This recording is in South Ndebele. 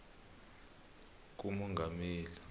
kumongameli